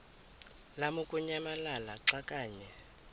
lamukunyamalala xa kanye